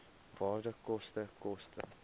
waarde koste koste